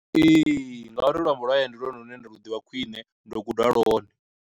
Ee, nga uri luambo lwa hayani ndi lwone lune ndi lu ḓivha khwine ndo guda lwone.